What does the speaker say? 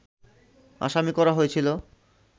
আসামি করা হয়েছিল